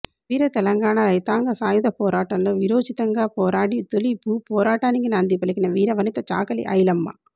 వీర తెలంగాణ రైతాంగ సాయుధ పోరాటంలో వీరోచితంగా పోరాడి తొలి భూపోరాటానికి నాంది పలికిన వీరవనిత చాకలి ఐలమ్మ